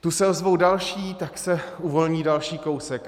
Tu se ozvou další, tak se uvolní další kousek.